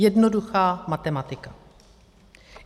Jednoduchá matematika.